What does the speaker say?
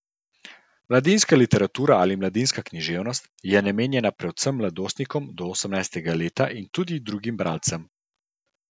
Mladinska literatura ali mladinska književnost je namenjena predvsem mladostnikom do osemnajstega leta in tudi drugim bralcem.